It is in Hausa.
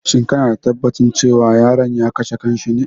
Shin kana da tabbacin cewa yaron ya kashe kan shi ne?